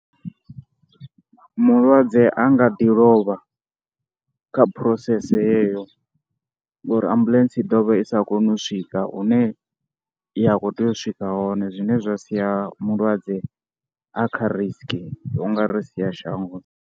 Mulwadze a nga ḓi lovha kha process yeyo ngori ambuḽentse i ḓo vha i sa koni u swika hune ya khou tea u swika hone zwine zwa sia mulwadze a kha risk, u nga ri sia shangoni.